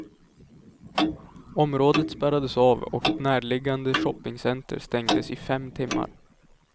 Området spärrades av och ett närliggande shoppingcenter stängdes i fem timmar.